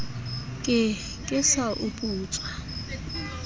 ke ke sa o putsa